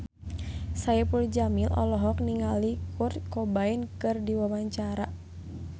Saipul Jamil olohok ningali Kurt Cobain keur diwawancara